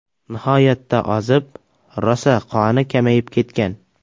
Nihoyatda ozib, rosa qoni kamayib ketgan.